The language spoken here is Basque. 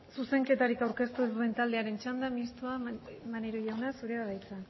zuzenketarik aurkeztu ez duen taldearen txanda mistoa maneiro jauna zurea da hitza